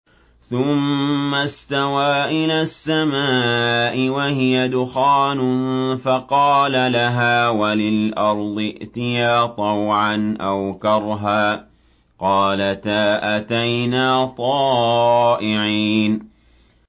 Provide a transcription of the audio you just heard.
ثُمَّ اسْتَوَىٰ إِلَى السَّمَاءِ وَهِيَ دُخَانٌ فَقَالَ لَهَا وَلِلْأَرْضِ ائْتِيَا طَوْعًا أَوْ كَرْهًا قَالَتَا أَتَيْنَا طَائِعِينَ